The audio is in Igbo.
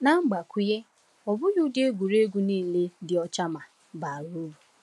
Na mgbakwunye, ọ bụghị ụdị egwuregwu niile dị ọcha ma baa uru.